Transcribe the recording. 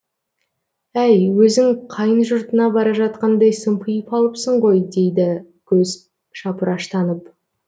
әй өзің қайын жұртыңа бара жатқандай сымпиып алыпсың ғой дейді көзі шапыраштанып